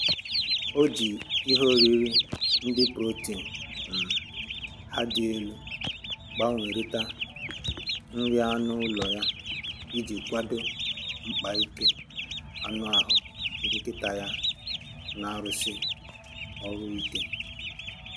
O ji ihe oriri ndị protin um ha dị elu gbanwerita nri anụ ụlọ ya iji kwado mkpa ike anụahụ nkịta ya na-arụsi ọrụ ike